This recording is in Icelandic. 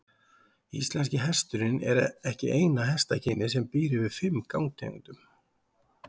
Íslenski hesturinn er ekki eina hestakynið sem býr yfir fimm gangtegundum.